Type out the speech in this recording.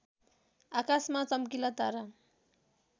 आकाशमा चम्किला तारा